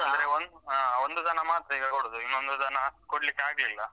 ಅಂದ್ರೆ ಹಾ ಒಂದು ದನ ಮಾತ್ರ ಈಗ ಕೊಡುದು ಇನ್ನೊಂದು ದನ ಕೊಡ್ಲಿಕ್ಕಾಗ್ಲಿಲ್ಲ.